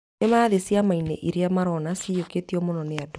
Nĩmarathiĩ ciamainĩ iria marona ciyũkĩtio mũno nĩ andũ